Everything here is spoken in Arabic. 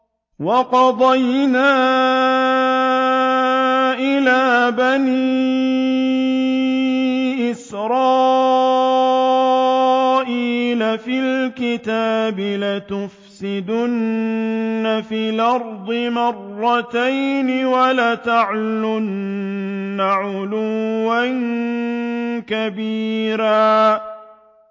وَقَضَيْنَا إِلَىٰ بَنِي إِسْرَائِيلَ فِي الْكِتَابِ لَتُفْسِدُنَّ فِي الْأَرْضِ مَرَّتَيْنِ وَلَتَعْلُنَّ عُلُوًّا كَبِيرًا